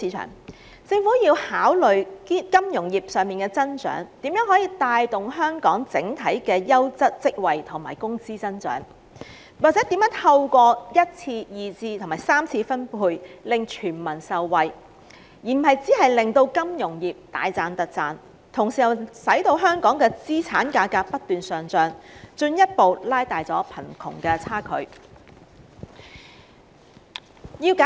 有鑒於此，政府應考慮金融業的增長可如何帶動本港整體的優質職位供應及工資增長，又或如何透過1次、2次及3次分配令全民受惠，而非只令金融業賺個盤滿缽滿之餘，本地的資產價格卻不斷上漲，進一步拉遠貧富差距。